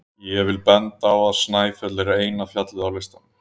Ég vil benda á að Snæfell er eina fjallið á listanum.